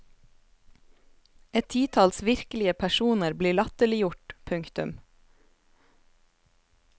Et titalls virkelige personer blir latterliggjort. punktum